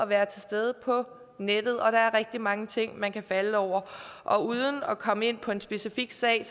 være til stede på nettet og der er rigtig mange ting man kan falde over og uden at komme ind på en specifik sag